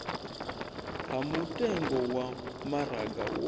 ha mutengo wa maraga wo